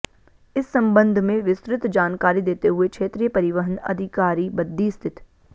इस संबंध में विस्तृत जानकारी देते हुए क्षेत्रीय परिवहन अधिकारी बद्दी स्थित